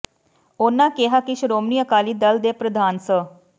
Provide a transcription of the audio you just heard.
ਉਨਾਂ ਕਿਹਾ ਕਿ ਸ਼ੋ੍ਰਮਣੀ ਅਕਾਲੀ ਦਲ ਦੇ ਪ੍ਰਧਾਨ ਸ